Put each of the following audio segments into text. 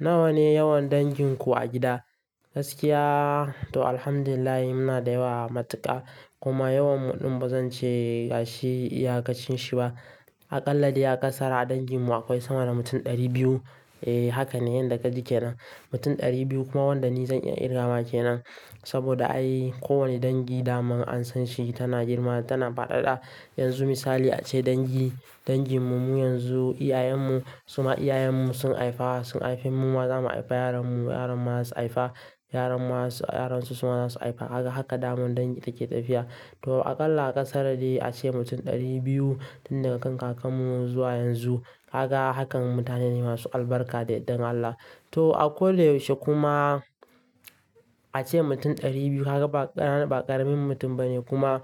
Nawa ne yawan danginku a gida? Gaskiya, to alhamdu lillahi muna da yawa matuƙa kuma yawan mu ɗin ba zan ce gashi iyakacin shi ba. A ƙalla dai a ƙasara danginmu akwai sama da mutum ɗari biyu. E, haka ne yanda ka ji ke nan. Mutum ɗari biyu kuma wanda ni zan iya kirga ma kenan. Saboda ai kowane dangi dama an san shi tana girma tana faɗaɗa. Yanzu misali ace dangi danginmu mu yanzu, iyayenmu suma iyayenmu sun haifa sun haife mu ma za mu haifi yaranmu, yaran mu kuma za su haifa, yaran su kuma za su haifa. Haka dama dangi take tafiya. To aƙalla aƙasara dai ace mutum ɗari biyu tun daga kan kakannmu zuwa yanzu. Kaga hakan mutane ne masu albarka da yandan Allah. To a kodayausje yaushe kuma a ce mutum ɗari biyu haka ba ƙaramin mutum bane kuma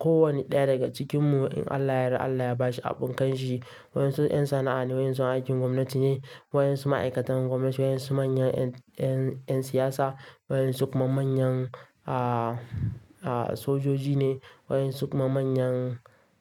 kowanne ɗaya daga cikinmu in Allah yara Allah ya ba shi abin kanshi. Waɗansu 'yan sana'a ne, waɗansu aikin gwamnati ne, waɗansu ma'aikatan gwamnati ne, waɗansu manyan 'yan siyasa, waɗansu kuma manyan sojoji ne, waɗansu kuma manyan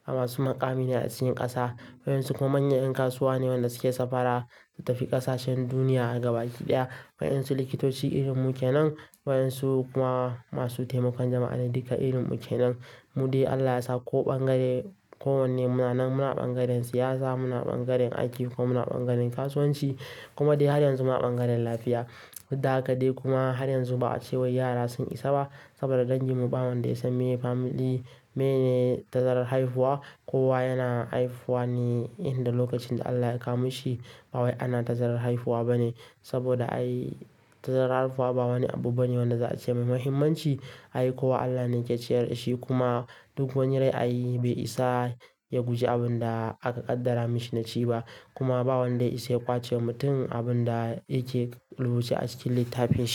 masu muƙami ne a cikin ƙasa, waɗansu kuma manyan 'yan kasuwa ne wanda suke safara su tafi ƙasashen duniya daga baki ɗaya, waɗansu likitoci irin mu ke nan, waɗansu kuma masu taimakon jama'a ne duka irin mu ke nan. Mu dai Allah yasa ko ɓangare kowanne mu na nan, muna ɓangaren siyasa, muna ɓangaren aiki ko muna ɓangaren kasuwanci kuma dai har yanzu muna ɓangaren lafiya. Da haka dai kuma har yanzu ba a ce wai yara sun isa ba saboda danginmu ba wanda ya san meye family, mene tazarar haihuwa. Kowa yana haihuwa ne inda lokacin da Allah ya kamashi ba wai ana tazarar haihuwa bane saboda ai tazarar haihuwa ba wani abu bane wanda za a ce mai mahimmanci. Ai kowa Allah ne yake ciyar da shi kuma duk wani rai ayi bai isa ya guje abin da aka ƙaddara mashi na ci ba kuma ba wanda ya iya ƙwace wa mutum abin da yake rubuce a cikin littafinshi.